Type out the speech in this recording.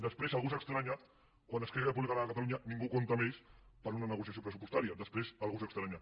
després algú s’estranya quan esquerra republicana de catalunya ningú compta amb ells per a una negociació pressupostària després algú se n’estranya